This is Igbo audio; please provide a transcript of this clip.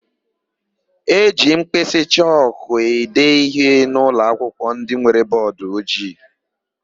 E ji mkpịsị chọkụ ede íhé n'ụlọakwụkwọ ndị nwere bọọdụojii.